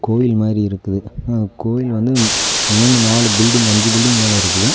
கோயில் மாறி இருக்குது அ கோயில் வந்து மூணு நாலு பில்டிங் அஞ்சு பில்டிங் மேல இருக்குது.